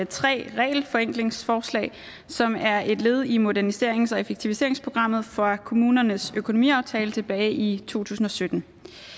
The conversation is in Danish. tre regelforenklingsforslag som er et led i moderniserings og effektiviseringsprogrammet fra kommunernes økonomiaftale tilbage i to tusind og sytten